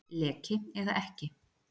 Leki eða ekki